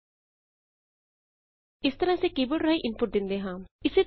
ਇਸ ਤਰਹ ਅਸੀਂ ਆਮ ਤੌਰ ਤੇ ਕੀ ਬੋਰਡ ਰਾਹੀਂ ਇਨਪੁਟ ਦਿੰਦੇ ਹਾਂ